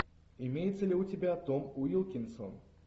имеется ли у тебя том уилкинсон